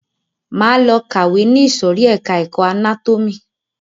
Máa lọ kàwé ni ìsòrí ẹka ẹ̀kọ́ anátómì.